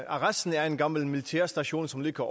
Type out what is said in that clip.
arresten er en gammel militærstation som ligger